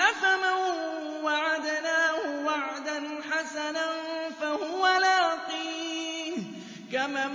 أَفَمَن وَعَدْنَاهُ وَعْدًا حَسَنًا فَهُوَ لَاقِيهِ كَمَن